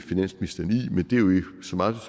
så meget